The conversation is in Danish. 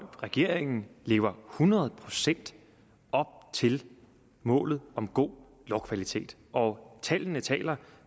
regeringen lever hundrede procent op til målet om god lovkvalitet og tallene taler